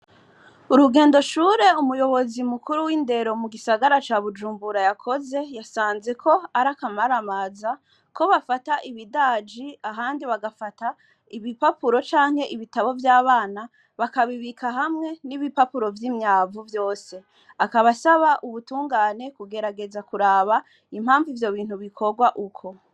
Urugendo shure umuyobozi mukuru w'indero mu gisigara ca bujumbura yakoze yasanzeko arakamaramaza ko bafata ibidaji ahandi bagafata ibipapuro canke ibitabo vy'abana bakabibika hamwe n'ibipapuro vy'imyavu vyose, akaba asaba ubutungane kugerageza kuraba impanvu ivyobintu bikogwa ukwo.